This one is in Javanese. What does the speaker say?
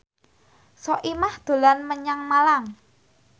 Soimah dolan menyang Malang